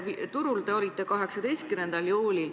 Turul te olite 18. juulil.